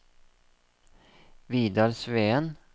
Vidar Sveen